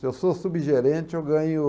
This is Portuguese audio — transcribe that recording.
Se eu sou subgerente, eu ganho